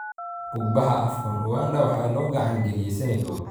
Bug-baxa Afcon: Uganda waxaa loo gacan galiyay Senegal